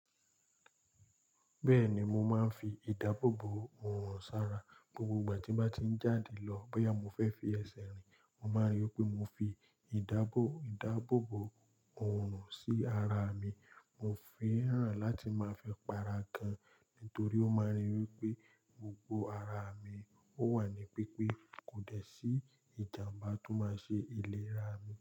Bẹ́ẹ̀ni, mo máa ń fi ìdáàbòbò òòrùn sa ra. Gbogbo ìgbà tí mo bá ti ń jáde lọ, bóyá mo fẹ́ fi ẹsẹ̀ rìn, mo máa rí i pé mo fi idaabo ìdáàbòbò òòrùn sí ara mi. Mo fẹ́ràn láti máa fẹ́ para gan, nítorí ó máa rí i wí pé gbogbo ara mi ó wà ní pípé, kò dẹ̀ sí ìjàmbá tó máa ṣe ìlera mi.